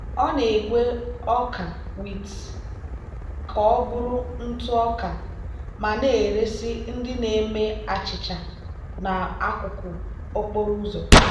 ọ na-egwe ọka wit ka ọ bụrụ ntụ ọka ma na-eresị ndị na-eme achịcha n'akụkụ okporo ụzọ.